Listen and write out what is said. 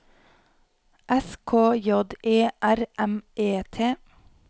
S K J E R M E T